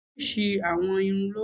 Oríṣi àwọ̀ irun ló wà.